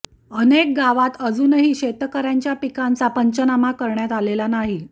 अनेक गावात अजूनही शेतकऱ्यांच्या पिकांचा पंचनामा करण्यात आलेला नाही